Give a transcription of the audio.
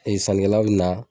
Ee sanikɛla bi na